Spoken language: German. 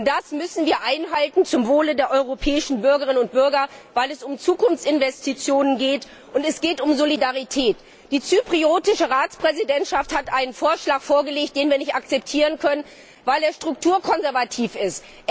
Das müssen wir zum Wohle der europäischen Bürgerinnen und Bürger einhalten, weil es um Zukunftsinvestitionen geht und um Solidarität. Die zyprische Ratspräsidentschaft hat einen Vorschlag vorgelegt, den wir nicht akzeptieren können, weil er strukturkonservativ ist.